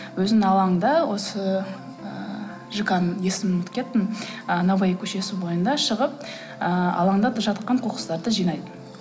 өзінің алаңында осы ыыы жк ның есімін ұмытып кеттім ы новаи көшесі бойында шығып ыыы алаңда да жатқан қоқыстарды жинайды